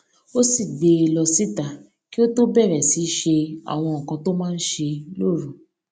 ó sì gbé e lọ síta kí ó tó bẹrè sì í ṣe àwọn nǹkan tó máa ń ṣe lóru